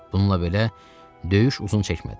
Bununla belə, döyüş uzun çəkmədi.